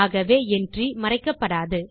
ஆகவே என்ட்ரி மறைக்கப்படாது